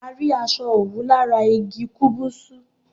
A rí aṣọ òwú lati ará igi kúbúsú